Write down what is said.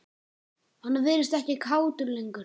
Hann virtist ekkert kátur lengur.